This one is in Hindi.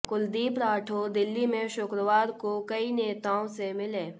कुलदीप राठौर दिल्ली में शुक्रवार को कई नेताओं से मिले